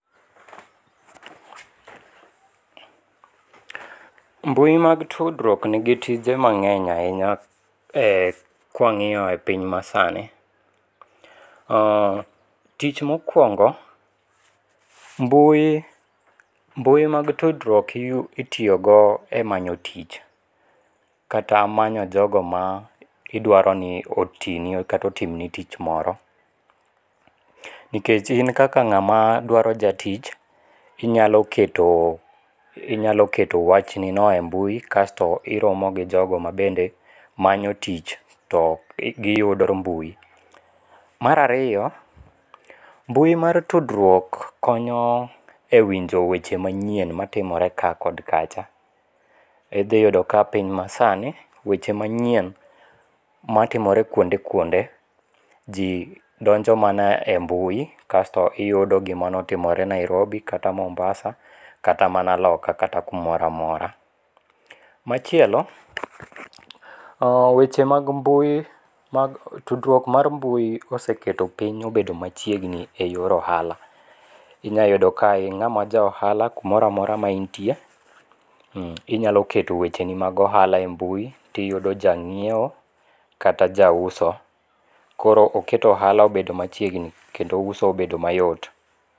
Mbui mag tutdruok nigi tije mange'ny ahinya e kwangi'yo e piny masani, tich mokuongo', mbui mag tudruok itiyogo e manyo tich, kata manyo jogo ma idwaro ni otini kata otimni tich moro, nikech in kaka nga'ma dwaro jatich inyalo keto inyalo keto wachni no e mbui kasto iromo gi jogo ma bende manyo tich to giyudo e mbui, marariyo mbui mar tudruok konyo e winjo weche manyien matimore ka kod kacha ithiyudo ka piny masani weche manyien matimore kuonde kuonde ji ndonjo mana e mbui kasto iyudo gimonotimore e Nairobi kata Mombasa kata mana loka kata kumoro amora, machielo weche mag mbui tudruok mar mbui oseketo piny obedo machiegni e yor ohala, inya yudo ka inga'ma ja ohala kumoro omora ma intie inyalo keto wecheni mag ohala e mbui ti yudo ja nyiewo kata ja uso koro oketo ohala obet machiegni kendo uso obedo mayot.